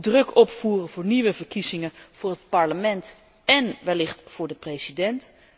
De druk opvoeren voor nieuwe verkiezingen voor het parlement en wellicht voor de president?